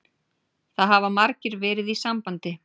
Það hafa margir verið í sambandi